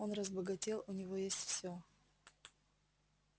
он разбогател у него все есть